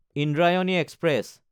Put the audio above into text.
Indrayani express